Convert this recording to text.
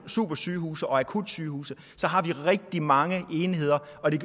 supersygehuse og akutsygehuse har vi rigtig mange enheder og det